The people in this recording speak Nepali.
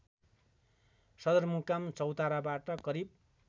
सदरमुकाम चौताराबाट करिब